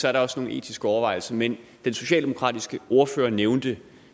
er der også nogle etiske overvejelser men den socialdemokratiske ordfører nævnte